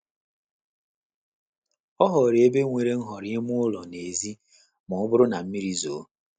Ọ họọrọ ebe nwere nhọrọ ime ụlọ na n'èzí ma ọ bụrụ na mmiri zuo.